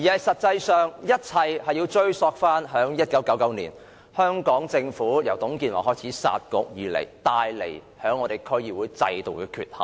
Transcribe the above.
實際上，一切要追溯至1999年，香港政府自董建華開始"殺局"以來，對區議會制度造成的缺陷。